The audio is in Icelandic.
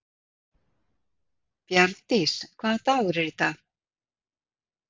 Bjarndís, hvaða dagur er í dag?